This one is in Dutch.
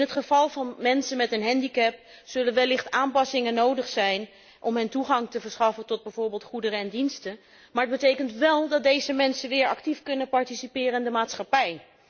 In het geval van mensen met een handicap zullen er wellicht aanpassingen nodig zijn om hun toegang te verschaffen tot bijvoorbeeld goederen en diensten, maar het betekent wel dat deze mensen weer actief kunnen participeren in de maatschappij.